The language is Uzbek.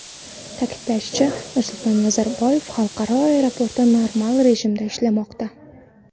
Ta’kidlanishicha, Nursulton Nazarboyev xalqaro aeroporti normal rejimda ishlamoqda.